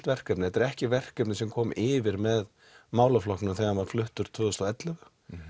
verkefni þetta er ekki verkefni sem kom yfir með málaflokknum þegar hann var fluttur tvö þúsund og ellefu